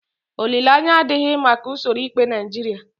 Olileanya adịghị maka usoro ikpe Naijiria.